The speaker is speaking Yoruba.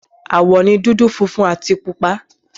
Àwọ̀ ni dúdú, funfun àti pupa.